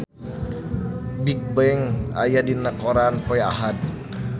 Bigbang aya dina koran poe Ahad